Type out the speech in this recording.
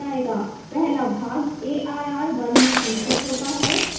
पहला भाग arr 1 में संचित होता है